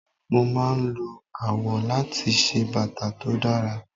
Mo máa ń lo awọ láti ṣe bàtà tó dára.